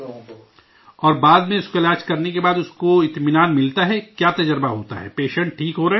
اور بعد میں اس کا علاج کرنے کے بعد اس کو اطمینان ملتا ہے، کیا تجربہ آتا ہے؟ پیشنٹ ٹھیک ہو رہے ہیں؟